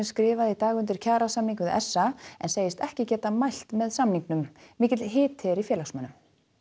skrifaði í dag undir kjarasamning við s a en segist ekki geta mælt með samningnum mikill hiti er í félagsmönnum